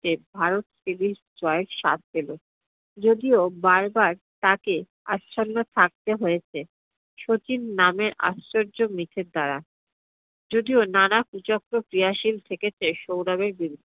Bharat series জয়ের স্বাদ পেল। যদিও বার বার তাকে আচ্ছন্ন থাকতে হয়েছে শচীন নামের আশ্চর্য দ্বারা। যদিও নানা কুচক্র ক্রিয়াশিল থেকেছে সৌরভের বিরুদ্ধে।